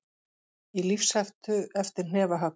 Í lífshættu eftir hnefahögg